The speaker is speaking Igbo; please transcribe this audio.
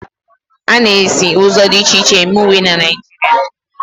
A na-esi ụzọ dị iche iche eme uwe na Naịjirịa.